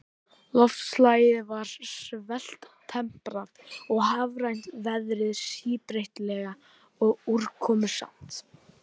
Loftslagið er svaltemprað og hafrænt, veðrið síbreytilegt og úrkomusamt.